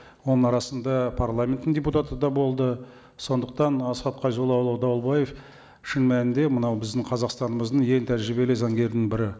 оның арасында парламенттің депутаты да болды сондықтан асхат қайзоллаұлы дауылбаев шын мәнінде мынау біздің қазақстанымыздың ең тәжірибелі заңгердің бірі